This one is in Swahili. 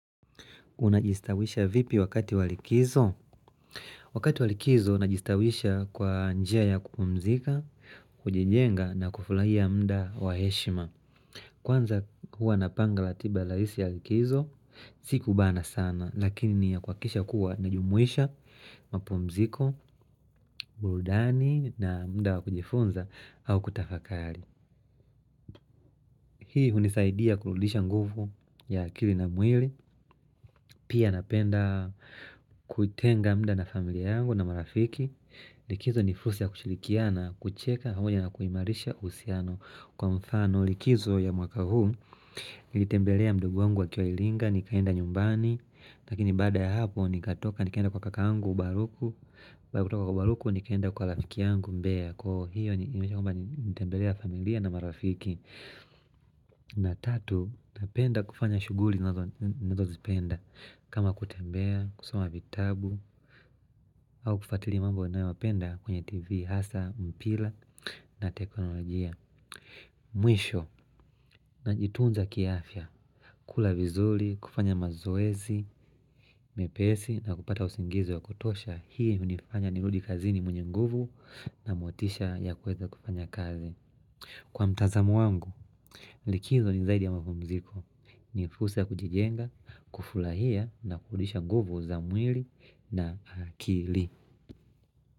Unajistawisha vipi wakati walikizo? Wakati walikizo najistawisha kwa njia ya kupumzika, kujijenga na kufulahia mda waheshima. Kwanza hua napanga latiba laisi ya likizo, sikubana sana, lakini ni ya kwakisha kuwa najumwisha, mapumziko, burudani na mda wakujifunza au kutafakari. Hii hunisaidia kuludisha nguvu ya akili na mwili Pia napenda kutenga mda na familia yangu na marafiki Likizo nifursia ya kushilikiana kucheka Hamoja na kuhimarisha usiano kwa mfano Likizo ya mwaka huu Nilitembelea mdogo wangu wa kioilinga Nikaenda nyumbani Nakini bada ya hapo nikatoka nikaenda kwa kakangu baruku Bada kutoka kwa baruku nikaenda kwa lafiki yangu mbea Koo hiyo nitembelea familia na marafiki na tatu, napenda kufanya shuguli nazo zipenda kama kutembea, kusoma vitabu au kufatilia mambo na napenda kwenye tv hasa, mpila na teknolojia Mwisho, na jituunza kiafya kula vizuli, kufanya mazoezi, mepesi na kupata usingizi wa kutosha Hii hunifanya niludi kazini mwenye nguvu na motisha ya kweza kufanya kazi Kwa mtazamu wangu, likizo ni zaidi ya mapumziko Nifusa kujigenga, kufulahia na kudisha guvu za mwili na akili.